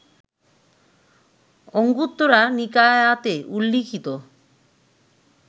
অঙ্গুত্তরা নিকায়াতে উল্লিখিত